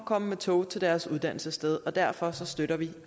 komme med tog til deres uddannelsessted og derfor støtter vi